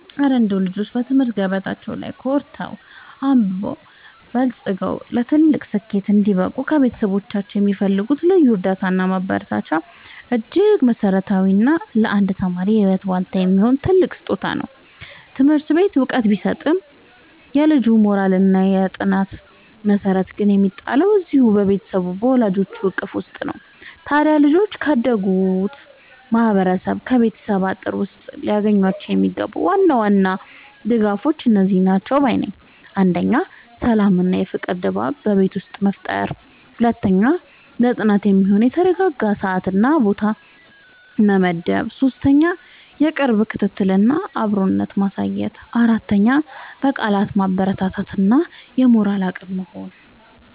እረ እንደው ልጆች በትምህርት ገበታቸው ላይ ኮርተው፣ አብበውና በልጽገው ለትልቅ ስኬት እንዲበቁ ከቤተሰቦቻቸው የሚፈልጉት ልዩ እርዳታና ማበረታቻማ እጅግ መሠረታዊና ለአንድ ተማሪ የህይወት ዋልታ የሚሆን ትልቅ ስጦታ ነው! ትምህርት ቤት ዕውቀት ቢሰጥም፣ የልጁ የሞራልና የጥናት መሠረት ግን የሚጣለው እዚያው በቤቱ በወላጆቹ እቅፍ ውስጥ ነው። ታዲያ ልጆች ካደጉበት ማህበረሰብና ከቤተሰብ አጥር ውስጥ ሊያገኟቸው የሚገቡ ዋና ዋና ልዩ ድጋፎች እነዚህ ናቸው ባይ ነኝ፦ 1. የሰላምና የፍቅር ድባብ በቤት ውስጥ መፍጠር 2. ለጥናት የሚሆን የተረጋጋ ሰዓትና ቦታ መመደብ 3. የቅርብ ክትትልና አብሮነት ማሳየት 4. በቃላት ማበረታታት እና የሞራል አቅም መሆን